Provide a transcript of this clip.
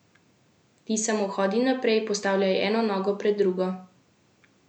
Ti samo hodi naprej, postavljaj eno nogo pred drugo!